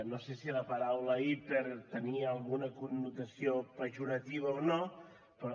no sé si la paraula hiper tenia alguna connotació pejorativa o no però